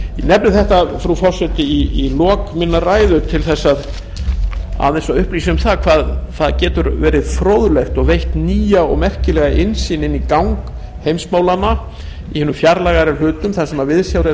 nefni þetta frú forseti í lok minnar ræðu til þess aðeins að upplýsa um það hvað það getur verið fróðlegt og veitt nýja og merkilega innsýn í gang heimsmálanna í hinum fjarlægari hlutum þar sem viðsjár eru